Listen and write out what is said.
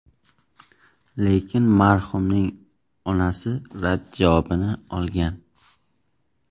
Lekin marhumning onasi rad javobini olgan.